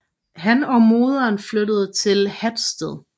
Han og moderen flyttede til Hatsted